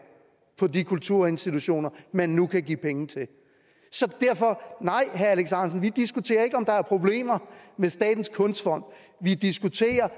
på de kulturinstitutioner man nu kan give penge til så derfor nej vi diskuterer ikke om der er problemer med statens kunstfond vi diskuterer